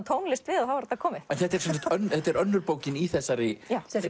tónlist við og þá var þetta komið þetta er þetta er önnur bókin í þessari